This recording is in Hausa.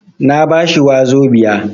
Na ba shi wazobia.